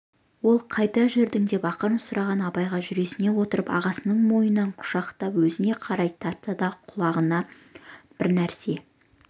ол қайда жүрдің деп ақырын сұраған абайға жүресінен отырып ағасының мойнынан құшақтап өзіне қарай тартты да құлағына бірнәрсе